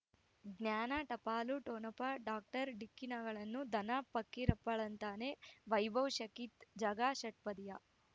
ಜ್ಞಾನ ಟಪಾಲು ಠೊಣಪ ಡಾಕ್ಟರ್ ಢಿಕ್ಕಿ ಣಗಳನು ಧನ ಫಕೀರಪ್ಪ ಳಂತಾನೆ ವೈಭವ್ ಶಖಿ ಝಗಾ ಷಟ್ಪದಿಯ